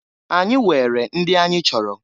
Anyị weere ndị anyị chọrọ.